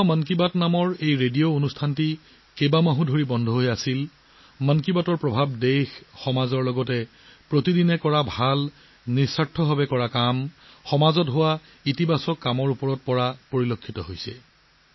'মন কী বাত' ৰেডিঅ' অনুষ্ঠানটো কেইমাহমানৰ বাবে বন্ধ হৈ থাকিলেও কিন্তু 'মান কী বাত'ৰ উচাহ দেশত সমাজত প্ৰতিদিনে ভাল কাম নিস্বাৰ্থ মনোভাৱেৰে কৰা কাম সমাজৰ কামৰ ওপৰত ইতিবাচক প্ৰভাৱ অবিৰতভাৱে চলি থাকিল